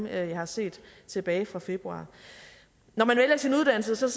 jeg har set tilbage fra februar når man vælger sin uddannelse ser